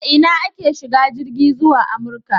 A ina ake shiga jirgi zuwa Amurka?